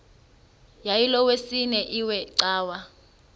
yayilolwesine iwe cawa